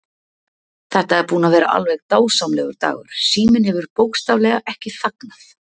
Þetta er búinn að vera alveg dásamlegur dagur, síminn hefur bókstaflega ekki þagnað.